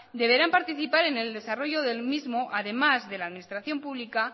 deberán participar en el desarrollo del mismo además de la administración pública